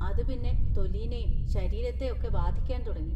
അത് പിന്നെ തൊലിനേം ശരീരത്തേ ഒക്കെ ബാധിക്കാൻ തുടങ്ങി.